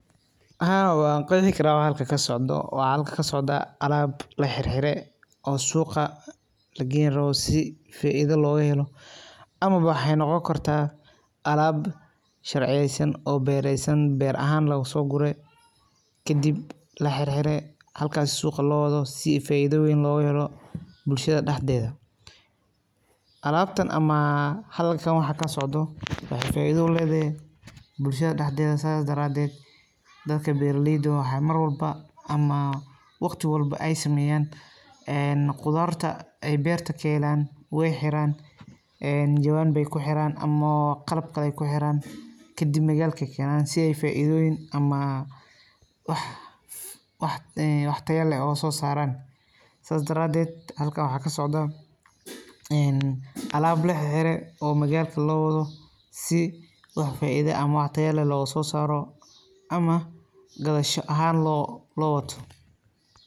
Haa waan qeexi karaa wax halkan kasocdo waxaa halkan kasocda alaab laxirxiray oo suuqa lageeyn rabo si faaido loogo helo amaba waxee noqon kartaa alaab sharciyeysan oo beereysan beer ahan loo soo guray kadib la xirxiray halkaas suuqa loo wado si faaido weyn loogo helo bulshada dhaxdeeda alaabtan ama halkan waxa kasocda waxee faaido uleedahay bulshada dhaxdeeda saas daraateed dadka beeraleyda waxee marwalba ama waqti walba ey sameeyan een qudaarta ay beerta ka helaan way xiraan jawaanbey ku xiraan ama oo qalab kaleto kuxiran kadib magaalke keenan si ay faaidooyin ama wax tayo leh ee soo saaran saas daraateed halkan waxa kasocdo een alaab laxirxiray oo magaalka loo wado si wax faaido leh ama wax tayo leh looga soo saaro ama gadasho ahan loo wato.